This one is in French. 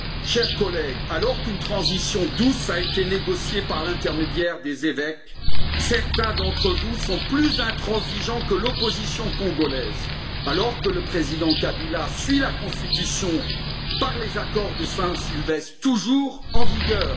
Chers collègues, alors qu'une transition douce a été négociée par l'intermédiaire des évêques, certains d'entre vous sont plus intransigeants que l'opposition congolaise, alors que le président Kabila suit la Constitution, par les accords de la Saint Sylvestre toujours en vigueur.